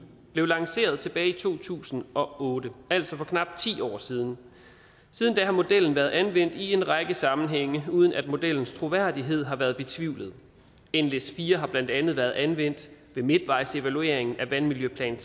blev lanceret tilbage i to tusind og otte altså for knap ti år siden siden da har modellen været anvendt i en række sammenhænge uden at modellens troværdighed har været betvivlet nles4 har blandt andet været anvendt ved midtvejsevaluering af vandmiljøplan